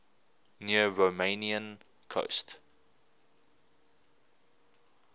near romanian coast